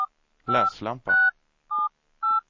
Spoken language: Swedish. läslampa